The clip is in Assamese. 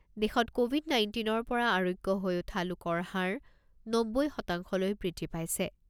দেশত ক’ভিড নাইণ্টিন ৰ পৰা আৰোগ্য হৈ উঠা লোকৰ হাৰ নব্বৈ শতাংশলৈ বৃদ্ধি পাইছে।